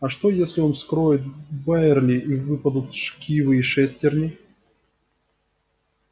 а что если он вскроет байерли и выпадут шкивы и шестерни